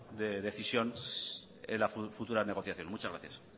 de decisión en la futura negociación muchas gracias